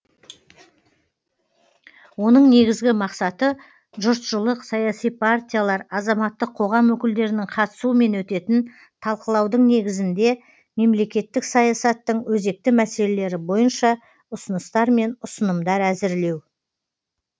оның негізгі мақсаты жұртшылық саяси партиялар азаматтық қоғам өкілдерінің қатысуымен өтетін талқылаудың негізінде мемлекеттік саясаттың өзекті мәселелері бойынша ұсыныстар мен ұсынымдар әзірлеу